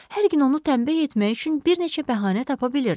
Hər gün onu tənbih etmək üçün bir neçə bəhanə tapa bilirdi.